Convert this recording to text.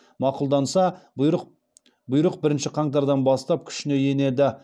мақұлданса бұйрық бірінші қаңтардан бастап күшіне енеді